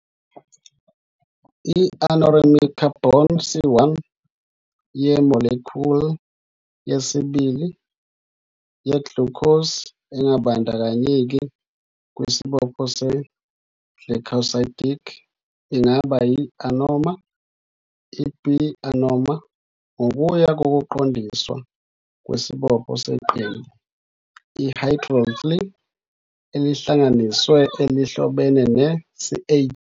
I-anomeric carbon, C1, ye-molecule yesibili ye-glucose, engabandakanyeki kwisibopho se-glycosidic, ingaba yi-anoma i-b-anomer ngokuya ngokuqondiswa kwesibopho seqembu le-hydroxyl elihlanganisiwe elihlobene ne-CH.